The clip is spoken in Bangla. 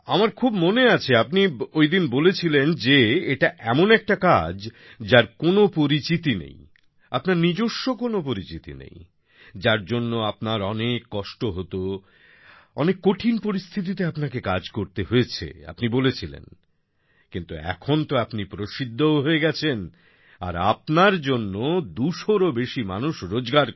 আমার খুব মনে আছে আপনি ওইদিন বলেছিলেন যে এটা এমন একটা কাজ যার কোনো পরিচিতি নেই আপনার নিজস্ব কোনো পরিচিতি নেই যার জন্য আপনার অনেক কষ্ট হতো অনেক কঠিন পরিস্থিতিতে আপনাকে কাজ করতে হয়েছে আপনি বলেছিলেন কিন্তু এখন তো আপনি প্রসিদ্ধও হয়ে গেছেন আর আপনার জন্য ২০০রও বেশি মানুষ রোজগার করছেন